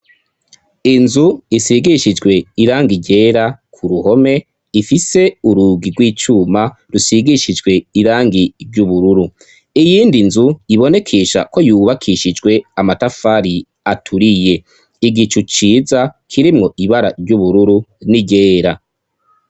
Inzu isigishijwe irangi ryera ku ruhome, ifise urugi rw'icuma rusigishijwe irangi ry'ubururu iyindi nzu ibonekisha ko yubakishijwe amatafari aturiye, igicu ciza kirimwo ibara ry'ubururu n'iryera.